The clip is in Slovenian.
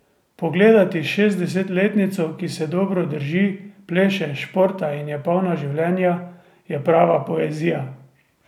Pogledati šestdesetletnico, ki se dobro drži, pleše, športa in je polna življenja, je prava poezija.